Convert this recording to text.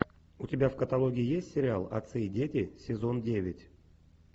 у тебя в каталоге есть сериал отцы и дети сезон девять